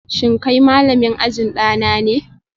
Shin kai malamin ajin dana ne?